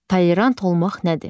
Tolerant olmaq nədir?